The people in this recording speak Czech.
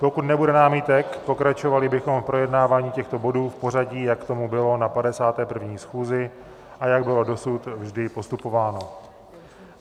Pokud nebude námitek, pokračovali bychom v projednávání těchto bodů v pořadí, jak tomu bylo na 51. schůzi a jak bylo dosud vždy postupováno.